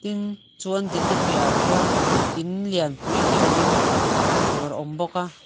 tin chu an dinna piah ah chuan in lianpui hi a ding hmuh tur a awm bawk a.